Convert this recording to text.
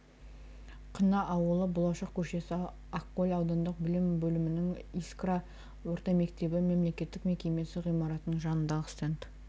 қына ауылы болашақ көшесі ақкөл аудандық білім бөлімінің искра орта мектебі мемлекеттік мекемесі ғимаратының жанындағы стенд